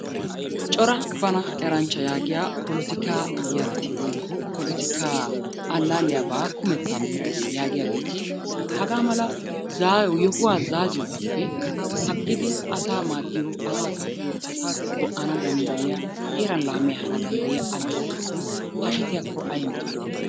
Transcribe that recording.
Cora bana eranchcha yaagiya pollottikka yarati woykko polottikkaa alaalliyaabaa kummettan erays yaagiyaageeti hagaa mala yohuwa zaaziyogaappe agidi asaa maddoyo, asaa kaafiyo, asaa go'anna danddayiya heeran laamiya ehana danddayiya alaalletun hashettiyaakko ay metoy de'i?